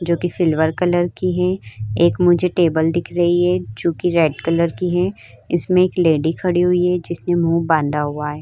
जो की silver colour की है एक मुझे टेबल दिख रही है जो की रेड कलर की है इसमें एक लेडी खड़ी हुई है जिसने मुंह बांधा हुआ है।